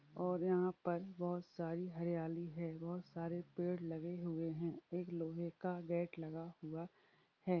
और यहाँ पर बहुत सारी हरियाली है। बहुत सारे पेड़ लगे हुए हैं। एक लोहे का गेट लगा हुआ है।